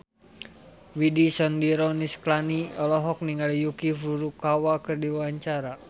Widy Soediro Nichlany olohok ningali Yuki Furukawa keur diwawancara